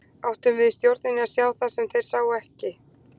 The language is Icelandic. Áttum við í stjórninni að sjá það sem þeir ekki sáu?